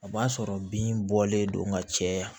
O b'a sɔrɔ bin bɔlen don ka caya